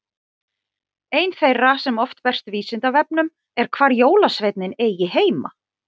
ein þeirra sem oft berst vísindavefnum er hvar jólasveinninn eigi heima